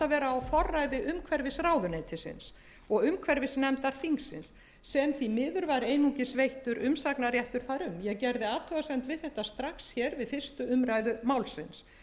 vera á forræði umhverfisráðuneytisins og umhverfisnefndar þingsins sem því miður var einungis veittur umsagnarréttur þar um ég gerði athugasemd við þetta strax við fyrstu umræðu málsins